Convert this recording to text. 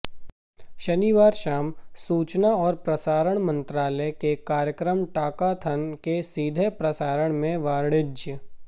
शनिवार शाम सूचना और प्रसारण मंत्रालय के कार्यक्रम टॉकाथन के सीधे प्रसारण में वाणिज्य